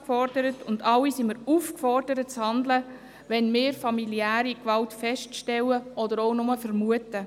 Wir alle sind aufgefordert, zu handeln, wenn wir familiäre Gewalt feststellen oder auch bloss vermuten.